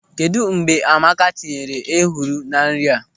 Kedụ mgbe Amaka tinyere ehuru na nri a?